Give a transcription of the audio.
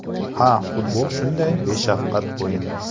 Ha, futbol shunday beshafqat o‘yin.